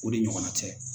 O de ɲɔgɔnna cɛ